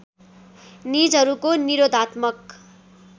निजहरूको निरोधात्मक